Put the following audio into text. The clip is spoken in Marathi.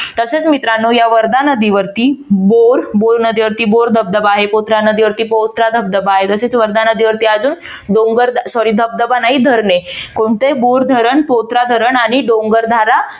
तसेच मित्रानो या वर्धा नदीवरती बोर नदीवरती बोर धबधबा आहे पौत्रा नदीवरती पौत्रा धबधबा आहे. तसेच वर्धा नदीवरती अजून डोंगर sorry धबधबा नाही धरणे कोणते बोर धरण पौत्रा धारण आणि डोंगर धारा